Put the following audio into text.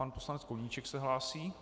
Pan poslanec Koníček se hlásí.